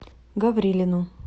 гаврилину